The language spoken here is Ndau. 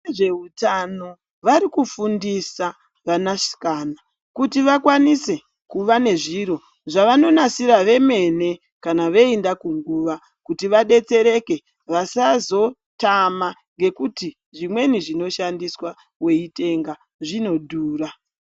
Vezveutano varikufundisa vana sikana kuti vakwanise kuva nezviro zvavanonasira vemene kana vaenda kunguva. Kuti vabetsereke vasazotama ngekuti zvimweni zvinoshandiswa kuitenga zvinodhura.